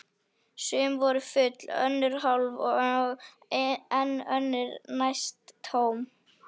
Sum voru full, önnur hálf og enn önnur næstum tóm.